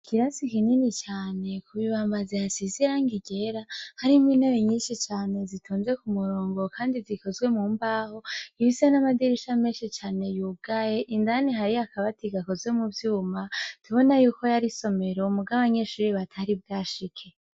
Ikirasi kinini cane ku bibambazi yasize irangi ryera, hari n'intebe nyinshi cane zitonze k'umurongo, kandi zikozwe mu mbaho, ifise n'amadirisha menshi cane yugaye, indani hari akabati gakozwe mu vyuma ,tubona y'uko yar'isomero mug' abanyeshuri batari bwashike.